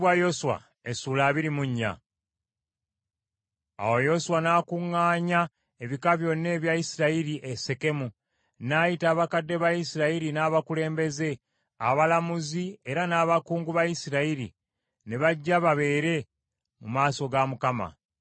Awo Yoswa n’akuŋŋaanya ebika byonna ebya Isirayiri e Sekemu, n’ayita abakadde ba Isirayiri n’abakulembeze, abalamuzi era n’abakungu ba Isirayiri ne bajja babeere mu maaso ga Katonda.